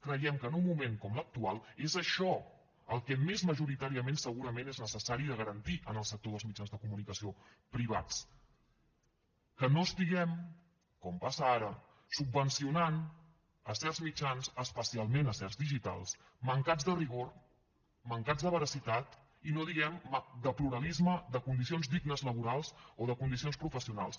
creiem que en un moment com l’actual és això el que més majoritàriament segurament és necessari de garantir en el sector dels mitjans de comunicació privats que no estiguem com passa ara subvencionant certs mitjans especialment certs digitals mancats de rigor mancats de veracitat i no diguem de pluralisme de condicions dignes laborals o de condicions professionals